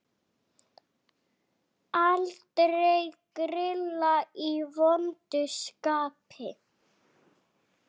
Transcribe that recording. Aldrei grilla í vondu skapi.